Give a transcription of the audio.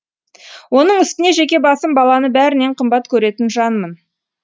оның үстіне жеке басым баланы бәрінен қымбат көретін жанмын